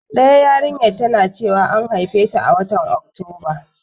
Ɗayar yarinyar tana cewa an haifeta a watan Oktoba.